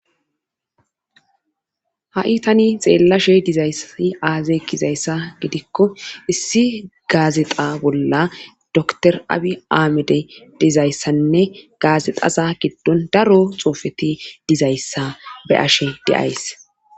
ha7i tani xeellashe dizayssai aaze gizayssa gidikko issi gaazexa bolla dokiter aabi aahimede dizayssanne gaazexaza giddon daro xoofeti dizayssa be ashe de'ays